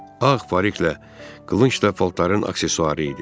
Ağ pariklə, qılınc da paltarların aksessuarı idi.